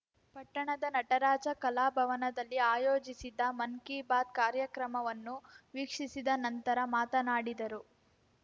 ಪಟ್ಟಣದ ನಟರಾಜ ಕಲಾ ಭವನದಲ್ಲಿ ಆಯೋಜಿಸಿದ್ದ ಮನ್‌ ಕಿ ಬಾತ್‌ ಕಾರ್ಯಕ್ರಮವನ್ನು ವೀಕ್ಷಿಸಿದ ನಂತರ ಮಾತನಾಡಿದರು